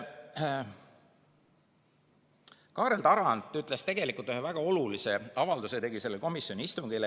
Kaarel Tarand tegi ühe väga olulise avalduse sellel komisjoni istungil.